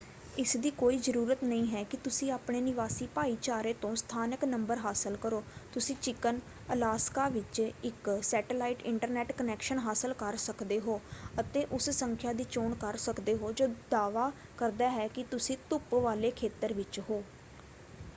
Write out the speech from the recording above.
ਇਸਦੀ ਕੋਈ ਜ਼ਰੂਰਤ ਨਹੀਂ ਹੈ ਕਿ ਤੁਸੀਂ ਆਪਣੇ ਨਿਵਾਸੀ ਭਾਈਚਾਰੇ ਤੋਂ ਸਥਾਨਕ ਨੰਬਰ ਹਾਸਲ ਕਰੋ; ਤੁਸੀਂ ਚਿਕਨ ਅਲਾਸਕਾ ਵਿੱਚ ਇੱਕ ਸੈਟੇਲਾਈਟ ਇੰਟਰਨੈੱਟ ਕਨੈਕਸ਼ਨ ਹਾਸਲ ਕਰ ਸਕਦੇ ਹੋ ਅਤੇ ਉਸ ਸੰਖਿਆ ਦੀ ਚੋਣ ਕਰ ਸਕਦੇ ਹੋ ਜੋ ਦਾਅਵਾ ਕਰਦਾ ਹੈ ਕਿ ਤੁਸੀਂ ਧੁੱਪ ਵਾਲੇ ਖੇਤਰ ਵਿੱਚ ਹੋ।